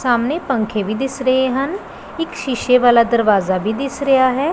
ਸਾਹਮਣੇ ਪੰਖੇ ਵੀ ਦਿਸ ਰਹੇ ਹਨ ਇੱਕ ਸ਼ੀਸ਼ੇ ਵਾਲਾ ਦਰਵਾਜ ਵੀ ਦਿਸ ਰਿਹਾ ਹੈ।